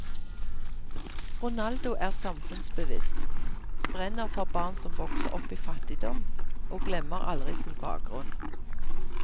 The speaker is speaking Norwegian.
Ronaldo er samfunnsbevisst, brenner for barn som vokser opp i fattigdom og glemmer aldri sin bakgrunn.